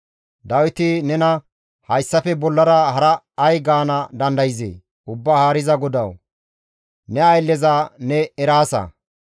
«Dawiti nena hayssafe bollara hara ay gaana dandayzee? Ubbaa Haariza GODAWU, ne aylleza ne eraasa.